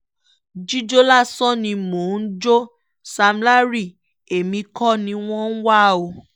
jíjọ́ lásán ni mo jọ sam larry èmi kọ́ ni wọ́n ń wá o